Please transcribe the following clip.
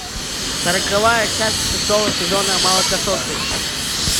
сороковая часть шестого сезона молокососы